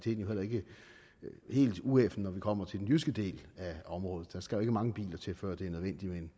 jo heller ikke helt ueffen når vi kommer til den jyske del af området der skal jo ikke mange biler til før det er nødvendigt